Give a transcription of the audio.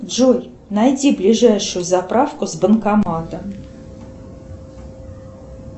джой найди ближайшую заправку с банкоматом